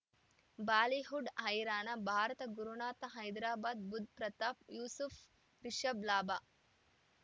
Bollywood ಹೈರಾಣ ಭಾರತ ಗುರುನಾಥ ಹೈದರಾಬಾದ್ ಬುಧ್ ಪ್ರತಾಪ್ ಯೂಸುಫ್ ರಿಷಬ್ ಲಾಭ